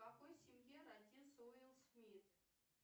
в какой семье родился уилл смит